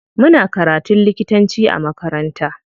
Muna karatun likitanci a makaranta.